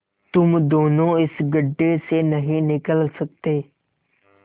तुम दोनों इस गढ्ढे से नहीं निकल सकते